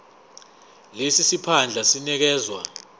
lesi siphandla sinikezwa